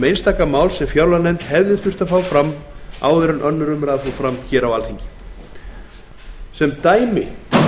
einstaka mál sem fjárlaganefnd hefði þurft að fá fram áður en önnur umræða fór fram sem dæmi